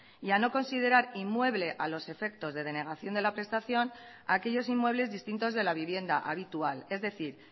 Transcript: y a no considerar inmueble a los efectos de la denegación de la prestación aquellos inmuebles distintos de la vivienda habitual es decir